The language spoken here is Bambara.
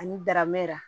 Ani daramɛri